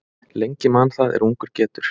Lengi man það er ungur getur.